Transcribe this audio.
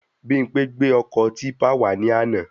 Bimpé gbé ọkọ típpà wà ní àna